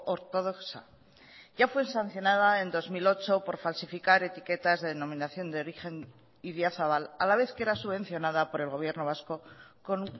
ortodoxa ya fue sancionada en dos mil ocho por falsificar etiquetas de denominación de origen idiazabal a la vez que era subvencionada por el gobierno vasco con